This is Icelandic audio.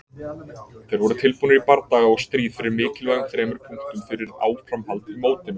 Þeir voru tilbúnir í bardaga og stríð fyrir mikilvægum þremur punktum fyrir áframhald í mótinu.